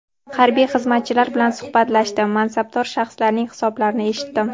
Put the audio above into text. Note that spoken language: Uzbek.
Harbiy xizmatchilar bilan suhbatlashdim, mansabdor shaxslarning hisobotlarini eshitdim.